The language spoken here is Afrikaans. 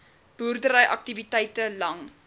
boerdery aktiwiteite lang